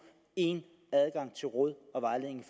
én adgang til råd og vejledning